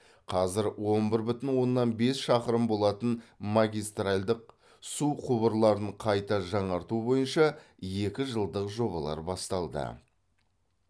қазір он бір бүтін оннан бес шақырым болатын магистральдық су құбырларын қайта жаңарту бойынша екі жылдық жобалар басталды